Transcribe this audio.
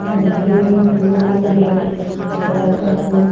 अ green blue red colour का फूल --